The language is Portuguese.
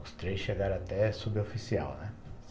Os três chegaram até a Suboficial, né.